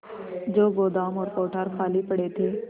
जो गोदाम और कोठार खाली पड़े थे